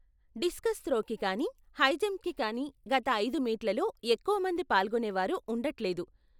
Discuss త్రోకి కానీ హైజంప్కి కానీ గత ఐదు మీట్లలో ఎక్కువమంది పాల్గొనేవారు ఉండట్లేదు.